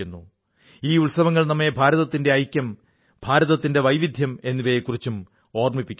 ഈ ഉത്സവങ്ങൾ നമ്മെ ഭാരതത്തിന്റെ ഐക്യം ഭാരതത്തിന്റെ വൈവിധ്യം എന്നിവയെക്കുറിച്ചും ഓർമ്മിപ്പിക്കുന്നു